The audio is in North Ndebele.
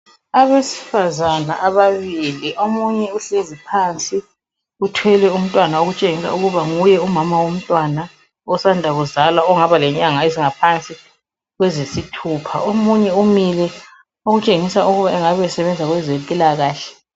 Abesifazana ababili, omunye uhlezi phansi uthwele umtwana okutshengisa ukuba nguye umama womtwana osanda kuzalwa ongaba lenyanga ezingaphansi kweziyisithupha, omunye umile okutshengisa ukuba engabe esebenza kwezempilakahle.